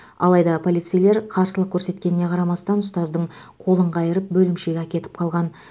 алайда полицейлер қарсылық көрсеткеніне қарамастан ұстаздың қолын қайырып бөлімшеге әкетіп қалған